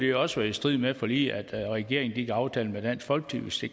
jo også være i strid med forliget at regeringen aftalte med dansk folkeparti